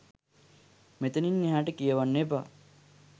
මෙතනින් එහාට කියවන්න එපා